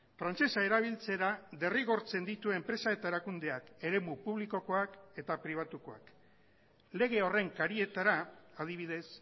frantsesa erabiltzera derrigortzen ditu enpresa eta erakundeak eremu publikokoak eta pribatukoak lege horren karietara adibidez